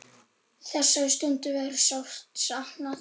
Þessara stunda verður sárt saknað.